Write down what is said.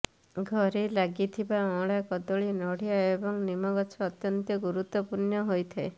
ଘରେ ଲାଗିଥିବା ଅଁଳା କଦଳୀ ନଡ଼ିଆ ଏବଂ ନିମ ଗଛ ଅତ୍ୟନ୍ତ ଗୁରୁତ୍ବପୂର୍ଣ୍ଣ ହୋଇଥାଏ